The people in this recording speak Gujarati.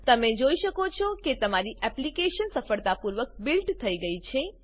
તમે જોઈ શકો છો કે તમારી એપ્લીકેશન સફળતાપૂર્વક બિલ્ટ થઇ ગઈ છે